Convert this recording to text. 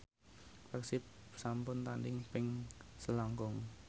Persib sampun tandhing ping selangkung